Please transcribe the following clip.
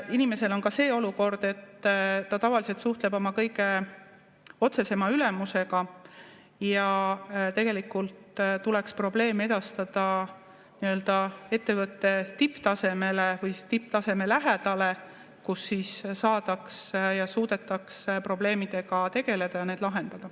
Inimesel on ka see olukord, et ta tavaliselt suhtleb oma kõige otsesema ülemusega ja tegelikult tuleks probleeme edastada nii-öelda ettevõtte tipptasemele või tipptaseme lähedale, kus siis saadaks ja suudetaks probleemidega tegelda ja need lahendada.